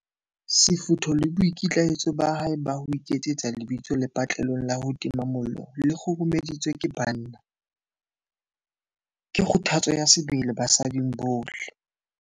Sefutho le boikitlaetso ba hae ba ho iketsetsa lebitso lepatlelong la ho tima mollo le kguru-meditsweng ke banna, ke kgothatso ya sebele basading bohle.